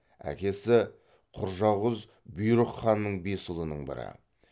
әкесі құржақұз бұйрық ханның бес ұлының бірі